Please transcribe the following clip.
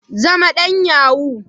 Zama dan yahoo.